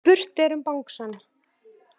Spurt er um bangsann.